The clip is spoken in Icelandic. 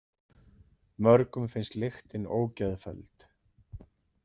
Mörgum finnst lyktin ógeðfelld.